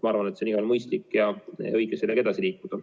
Ma arvan, et on igal juhul mõistlik ja õige sellega edasi liikuda.